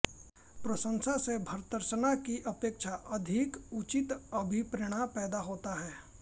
प्रशंसा से भर्त्सना की अपेक्षा अधिक उचित अभिप्रेरण पैदा होता है